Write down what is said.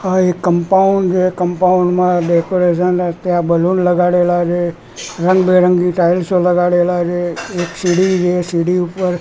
આ એક કમ્પાઉન્ડ છે કમ્પાઉન્ડ માં ડેકોરેશન રાખ્યા બલુન લગાડેલા છે રંગબેરંગી ટાઇલ્સો લગાડેલા છે એક સીડી છે સીડી ઉપર--